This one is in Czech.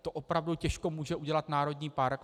To opravdu těžko může udělat národní park.